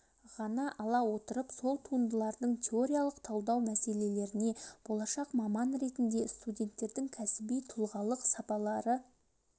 ғана ала отырып сол туындыларын теориялық талдау мәселелеріне болашақ маман ретінде студенттердің кәсіби тұлғалық сапалары